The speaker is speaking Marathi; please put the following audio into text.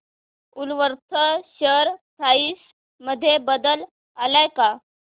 वूलवर्थ शेअर प्राइस मध्ये बदल आलाय का